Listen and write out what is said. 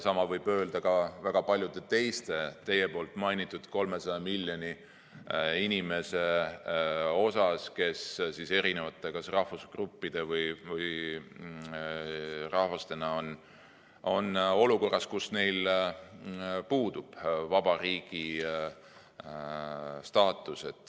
Sama võib öelda ka väga paljude teiste teie mainitud 300 miljoni inimese kohta, kes kas erinevate rahvusgruppide või rahvastena on olukorras, kus puudub vaba riigi staatus.